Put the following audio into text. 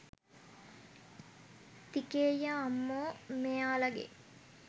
තිකේයියා අම්මෝ මේයාලගෙ